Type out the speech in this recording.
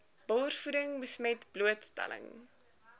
borsvoeding besmet blootstelling